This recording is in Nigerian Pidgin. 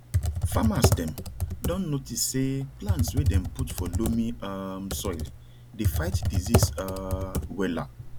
farmers dem don notice say plants wey dem put for loamy um soil dey fight disease um wella